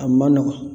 A ma nɔgɔn